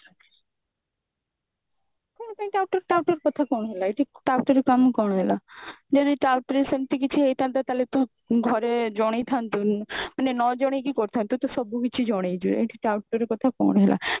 କଣ ପାଇଁ touter touter କଥା କଣ ହେଲା ଏଠି ଟାଉଟରି କାମ କଣ ହେଲା ଯଦି ଟାଉଟରି ସେମତି କିଛି ହେଇଥାନ୍ତା ତାହେଲେ ତୁ ଘରେ ଜଣେଇଥାନ୍ତୁ ମାନେ ନଜଣେଇକି କରିଥାନ୍ତୁ ତୁ ସବୁକିଛି ଜଣେଇଛୁ ଏଠି ଟାଉଟର କଥା କଣ ହେଲା